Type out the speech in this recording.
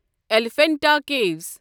Elephanta کیٖوَس